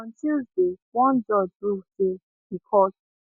on tuesday one judge rule say di court